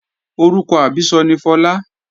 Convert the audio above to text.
Orúkọ àbísọ ni Fọlá